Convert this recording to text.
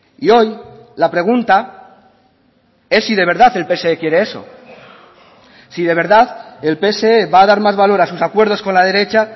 y hoy la pregunta es si de verdad el pse quiere eso si de verdad el pse va a dar más valor a sus acuerdos con la derecha